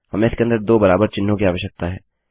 हमें इसके अंदर दो बराबर चिह्नों कि आवश्यकता है